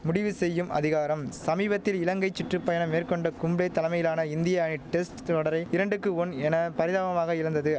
முடிவு செய்யும் அதிகாரம் சமீபத்தில் இலங்கை சுற்று பயணம் மேற்கொண்ட கும்ளே தலமையிலான இந்திய அணி டெஸ்ட் தொடரை இரண்டுக்கு ஒன் என பரிதாபமாக இழந்தது